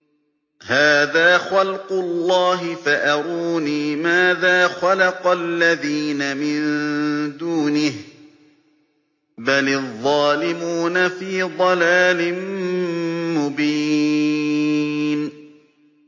هَٰذَا خَلْقُ اللَّهِ فَأَرُونِي مَاذَا خَلَقَ الَّذِينَ مِن دُونِهِ ۚ بَلِ الظَّالِمُونَ فِي ضَلَالٍ مُّبِينٍ